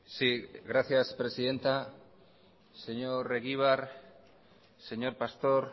sí gracias presidenta señor egibar señor pastor